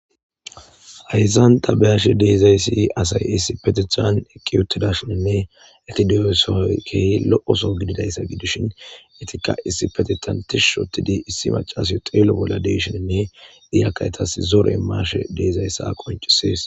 ayzan tabeyashe deezayssi asay issi petethan eqqi yuttidashinne etideyosooy kehi lo7oso gididayssa gidishin itika issi petetantishu shotidi issi macasi xeelo bolla deshoninne diyakaytas zore maashe deezayssa qoncisees